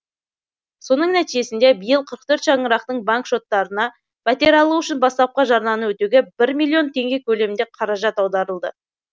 соның нәтижесінде биыл қырық төрт шаңырақтың банк шоттарына пәтер алу үшін бастапқы жарнаны өтеуге бір миллион теңге көлемінде қаражат аударылды